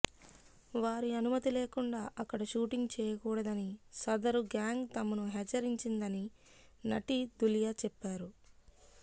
వారి అనుమతి లేకుండా అక్కడ షూటింగ్ చేయకూడదని సదరు గ్యాంగ్ తమను హెచ్చరించిందని నటి ధులియా చెప్పారు